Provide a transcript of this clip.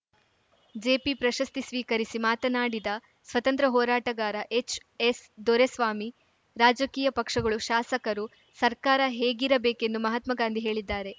ಜೆಪಿಪ್ರಶಸ್ತಿ ಸ್ವೀಕರಿಸಿ ಮಾತನಾಡಿದ ಸ್ವತಂತ್ರ್ಯ ಹೋರಾಟಗಾರ ಎಚ್‌ಎಸ್‌ದೊರೆಸ್ವಾಮಿ ರಾಜಕೀಯ ಪಕ್ಷಗಳು ಶಾಸಕರು ಸರ್ಕಾರ ಹೇಗಿರಬೇಕೆಂದು ಮಹಾತ್ಮ ಗಾಂಧಿ ಹೇಳಿದ್ದಾರೆ